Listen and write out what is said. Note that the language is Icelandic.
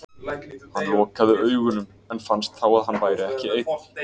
Hann lokaði augunum en fannst þá að hann væri ekki einn.